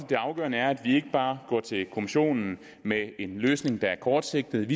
det er afgørende at vi ikke bare går til kommissionen med en løsning der er kortsigtet